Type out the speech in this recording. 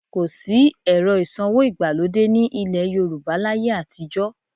Kò sí ẹ̀rọ ìsanwó ìgbàlódé ní ilẹ̀ Yorùbá láyé àtijọ́